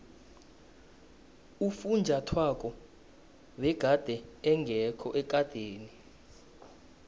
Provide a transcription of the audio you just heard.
ufunjathwako begade engekho ekadeni